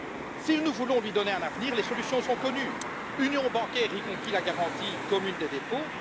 Si nous voulons lui donner un avenir, les solutions sont connues union bancaire, y compris la garantie commune des dépôts